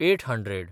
eight hundred